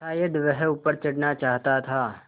शायद वह ऊपर चढ़ना चाहता था